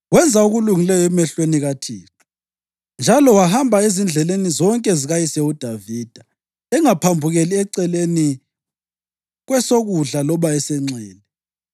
Wenza okulungileyo emehlweni kaThixo njalo wahamba ezindleleni zonke zikayise uDavida, engaphambukeli eceleni kwesokudla loba esenxele.